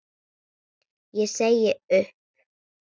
Ég segi upp!